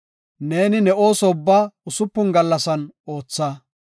Neeni ne ooso ubbaa usupun gallasan ootha.